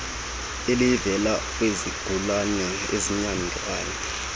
elivela kwizigulane ezinyangwa